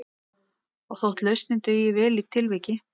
Og þótt lausnin dugir vel í tilviki